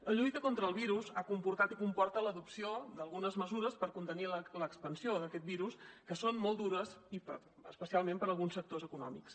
la lluita contra el virus ha comportat i comporta l’adopció d’algunes mesures per contenir l’expansió d’aquest virus que són molt dures i especialment per a alguns sectors econòmics